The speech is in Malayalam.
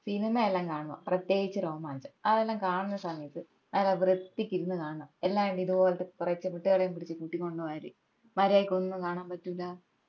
സിനിമ എല്ലാം കാണുവാ പ്രേത്യേകിച് രോമാഞ്ചം അതെല്ലാം കാണുന്ന സമയത് നല്ല വൃത്തിക്ക് ഇരുന്ന് കാണണം എല്ലാണ്ട് ഇതുപോലത്തെ കൊറേ ചിമിട്ടുകളെയും പിടിച് കൂട്ടികൊണ്ട് പോയാല് മര്യാദയ്ക്ക് ഒന്നും കാണാൻ പറ്റൂല്ല